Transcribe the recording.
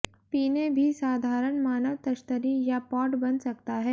पीने भी साधारण मानव तश्तरी या पॉट बन सकता है